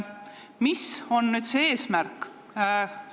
Mis on selle eesmärk?